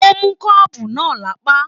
O mú kọ́ọ́bú náà lápá.